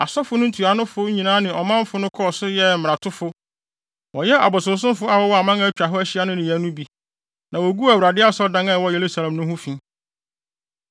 Asɔfo no ntuanofo nyinaa ne ɔmanfo no kɔɔ so yɛɛ mmaratofo. Wɔyɛɛ abosonsomfo a wɔwɔ aman a atwa ahyia hɔ no nneyɛe no bi, na woguu Awurade Asɔredan a ɛwɔ Yerusalem no ho fi.